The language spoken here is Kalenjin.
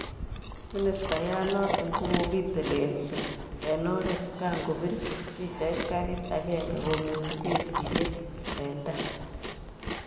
Ministayat noton kokokitelelsi eng oret kankobir pichait garit agenge komuti nge'jiryet eng taa.